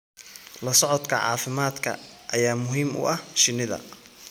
La socodka caafimaadka ayaa muhiim u ah shinnida.